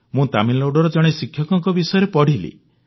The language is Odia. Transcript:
ମୁଁ ତାମିଲନାଡୁର ଜଣେ ଶିକ୍ଷକଙ୍କ ବିଷୟରେ ପଢ଼ିଲି